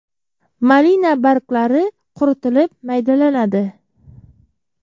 Malina barglari quritilib maydalanadi.